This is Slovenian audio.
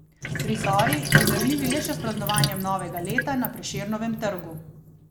Prizori, primerljivi le še s praznovanjem novega leta na Prešernovem trgu.